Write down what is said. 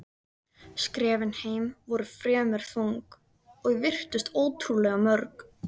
Skrefin heim voru fremur þung og virtust ótrúlega mörg.